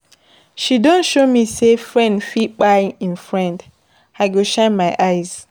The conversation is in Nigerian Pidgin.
She don show me sey friend fit kpai im friend, I go shine my eyes.